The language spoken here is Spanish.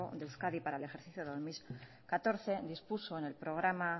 de euskadi para el ejercicio dos mil catorce dispuso en el programa